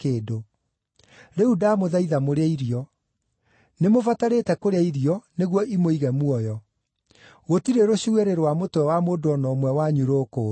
Rĩu ndamũthaitha mũrĩe irio. Nĩmũbatarĩte kũrĩa irio nĩguo imũige muoyo. Gũtirĩ rũcuĩrĩ rwa mũtwe wa mũndũ o na ũmwe wanyu rũkũũra.”